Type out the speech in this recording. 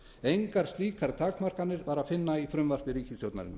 engar slíkar takmarkanir var að finna í frumvarpi ríkisstjórnarinnar